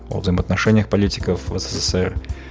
о взаимоотношениях политиков в ссср